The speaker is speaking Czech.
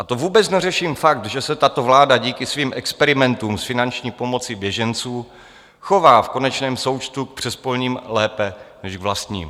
A to vůbec neřeším fakt, že se tato vláda díky svým experimentům s finanční pomocí běžencům chová v konečném součtu k přespolním lépe než k vlastním.